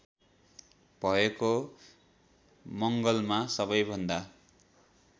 भएको मङ्गलमा सबैभन्दा